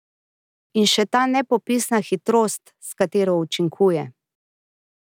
In še ta nepopisna hitrost, s katero učinkuje.